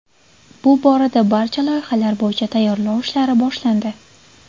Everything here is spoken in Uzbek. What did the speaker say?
Bu borada barcha loyihalar bo‘yicha tayyorlov ishlari boshlandi.